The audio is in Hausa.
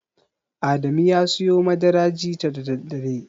Adamu ya siyo madara jita da daddare.